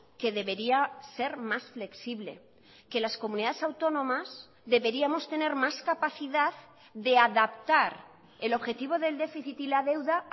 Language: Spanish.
que debería ser más flexible que las comunidades autónomas deberíamos tener más capacidad de adaptar el objetivo del déficit y la deuda